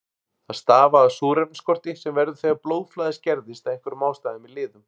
Það stafar af súrefnisskorti sem verður þegar blóðflæði skerðist af einhverjum ástæðum í liðum.